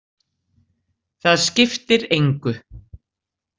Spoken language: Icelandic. Það skiptir engu.